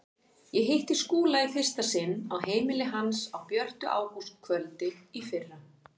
Ég hitti Skúla í fyrsta sinn á heimili hans á björtu ágústkvöldi í fyrra.